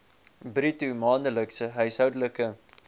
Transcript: bruto maandelikse huishoudelike